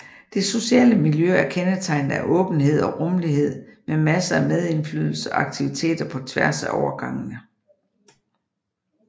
Det sociale miljø er kendetegnet af åbenhed og rummelighed med masser af medindflydelse og aktiviteter på tværs af årgangene